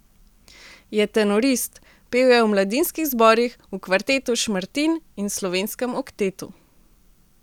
Je tenorist, pel je v mladinskih zborih, v kvartetu Šmartin in Slovenskem oktetu.